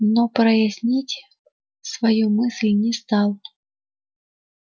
но прояснить свою мысль не стал